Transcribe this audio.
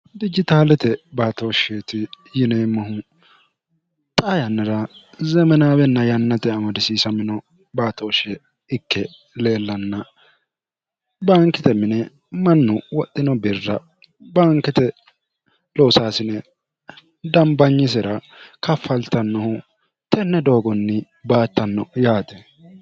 dijitaalete baatooshsheeti yineemmohu xa yannira zemenaawenna yannate amodisiisa mino baatooshshe ikke leellanna baankite mine mannu woxxino birra bankite loosaasine dambanyisira kaffaltannohu tenne doogonni baattanno yaati